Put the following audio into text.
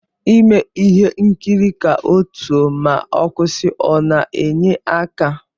Ime ihe nkiri ka otuo ma ọkwụsi ọna enye aka?